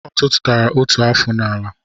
I tutara otu afụ n'ala